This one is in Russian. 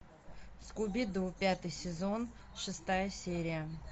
скуби ду пятый сезон шестая серия